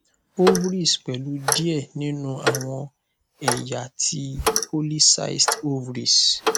ovaries pẹlu diẹ ninu awọn ẹya ti poly cystic ovaries